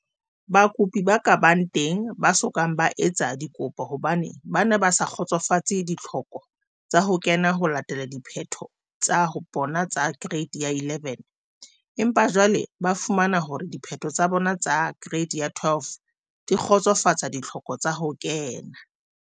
Bakopi ba ka bang teng ba so kang ba etsa dikopo hobane ba ne ba sa kgotsofatse ditlhoko tsa ho kena ho latela diphetho tsa bona tsa Kereiti ya 11 empa jwale ba fumana hore diphetho tsa bona tsa Kereiti ya 12 di kgotsofatsa ditlhoko tsa ho kena.